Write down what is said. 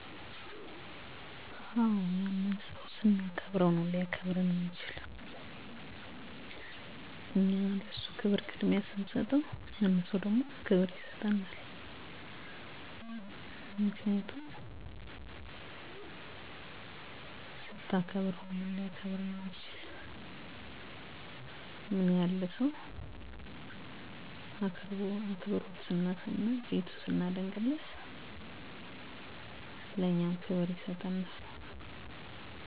የአንድን ሰው ቤት ስጎበኝ፣ አክብሮት እና ጨዋነት ማሳየት በርካታ ቁልፍ ተግባራትን ያካትታል። ሁሉንም ሰው በትህትና ሰላምታ አአቀርባለሁ፣ የተለመደ ቤት ቢሆንም ባይሆንም ጫማየን አውልቃለሁ። በጥሞና ንግግራችውን አደምጣለሁ፣ በኔ በግል አምነት ሰወች ሲያወሩ ማቋረጥ እንደለለብኝ አምነለሁ። የቤታቸውን ህግ አክብሮ እሰክወጣ በትግሰት እጠብቃለሁ፣ ከመውጣቴ በፈት ምሰጋነየን አቀርባለሁ በአጠቃላይ፣ ለቤተሰባቸው ያለኝን አክብሮት አሳያለሁ።